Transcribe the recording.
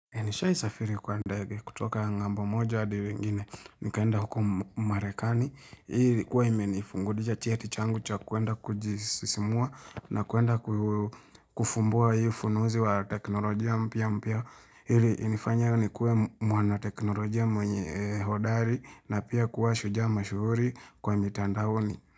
Nishaisafiri kwa ndege kutoka ng'ambo moja hadi ingine, nikaenda huko Marekani, hii ilikuwa imenifungulia cheti changu cha kuenda kujisisimua na kuenda kufumbua hii ufunuzi wa teknolojia mpya mpya, ili inifanye nikuwe mwana teknolojia mwenye hodari na pia kuwa shujaa mashuhuri kwa mitandaoni.